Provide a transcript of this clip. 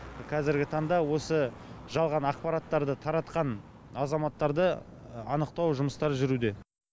қазіргі таңда осы жалған ақпараттарды таратқан азаматтарды анықтау жұмыстары жүруде